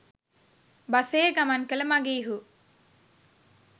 බසයේ ගමන් කළ මඟීහු